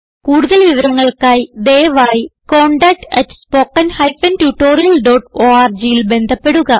കുടുതൽ വിവരങ്ങൾക്കായി ദയവായി contactspoken tutorialorgൽ ബന്ധപ്പെടുക